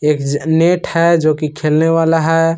एक नेट है जो कि खेलने वाला है।